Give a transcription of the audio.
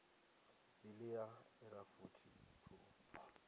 bili ya irafuthi i khou